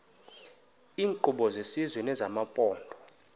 iinkqubo zesizwe nezamaphondo